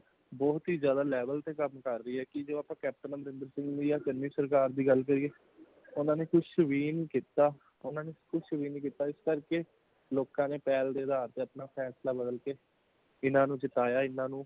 ਕਿ ਏਹੇ ਕਿ ਸ਼ਰਕਾਰ ਬਹੁਤ ਹੀ ਜ਼ਿਆਦਾ level ਤੇ ਕਮ ਕਰ ਰਹੀ ਹੇ | ਕਿ ਜੋ ਆਪਾਂ ਕੈਪਟਨ ਅਮਰਿੰਦਰ ਸਿੰਘ ਯਾ congress ਸ਼ਰਕਾਰ ਦੀ ਗਾਲ੍ਹ ਕਰੀਏ | ਉਨ੍ਹਾਂ ਨੇ ਕੁੱਝ ਵੀ ਨਹੀਂ ਕਿਤਾ ,ਉਨਾਂ ਨੇ ਕੁੱਝ ਨਹੀਂ ਕਿਤਾ |ਇਸ ਕਰ ਕੇ ਲੋਕਾਂ ਨੇ ਪਹਿਲ ਦੇ ਅਧਾਰ ਤੇ ਅਪਣਾ ਫੈਸਲਾ ਬਦਲ ਕੇ ਇਨਾਂ ਨੂੰ ਜਿਤਾਇਆ ਇਨ੍ਹਾਂ ਨੂੰ |